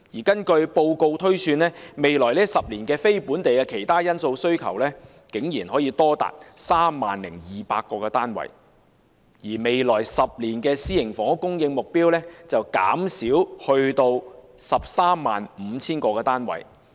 根據報告推算，未來10年非本地的"其他因素"需求竟然多達 30,200 個單位，而未來10年的私營房屋供應目標則減少至 135,000 個單位。